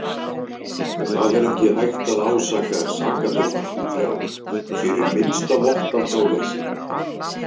Hér er ekki hægt að ásaka sakadómarana þrjá fyrir minnsta vott af gáleysi.